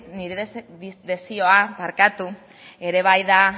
nire desioa ere bai da